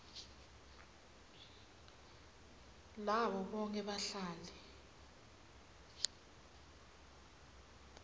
labo bonkhe bahlali